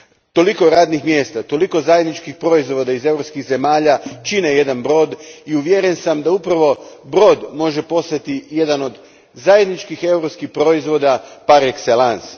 Toliko radnih mjesta, toliko zajedničkih proizvoda iz europskih zemalja čine jedan brod i uvjeren sam da upravo brod može postati jedan od zajedničkih europskih proizvoda par excellence